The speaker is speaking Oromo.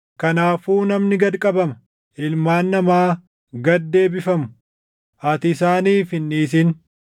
Kanaafuu namni gad qabama; ilmaan namaa gad deebifamu; ati isaaniif hin dhiisin.